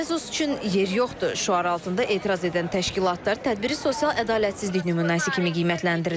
Bezos üçün yer yoxdur şüarı altında etiraz edən təşkilatlar tədbiri sosial ədalətsizlik nümunəsi kimi qiymətləndirirlər.